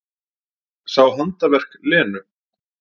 Sá handaverk Lenu.